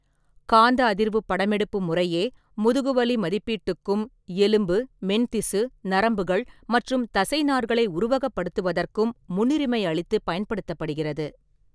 காந்த அதிர்வுப் படமெடுப்பு முறையே முதுகுவலி மதிப்பீட்டுக்கும் எலும்பு, மென்திசு, நரம்புகள் மற்றும் தசைநார்களை உருவகப்படுத்துவதற்கும் முன்னுரிமை அளித்துப் பயன்படுத்தப்படுகிறது.